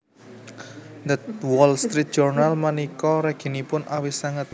The Wall Street Journal menika reginipun awis sanget